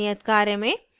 नियत कार्य में